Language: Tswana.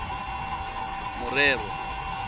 morero